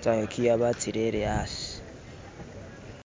tsayokiwa batsirele hasi.